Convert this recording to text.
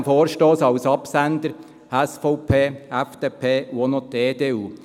In diesem Vorstoss stehen als Absender die SVP, die FDP und auch noch die EDU.